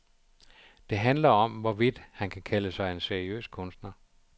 Det handler om, hvorvidt han kan kalde sig en seriøs kunstner.